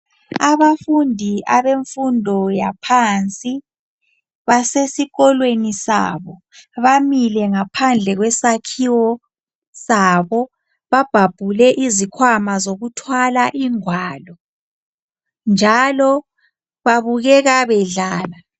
Abafundi abemfundo yaphansi basesikolweni sabo. Bamile ngaphandle kwesakhiwo sabo. Babhabhule izikhwama zokuthwala ingwalo njalo babukeka bedlala.